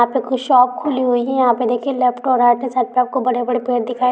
यहा पे कुछ शॉप खुली हुई हे यहा पे देखि कौई बड़े बड़े पेड़ दिखाय--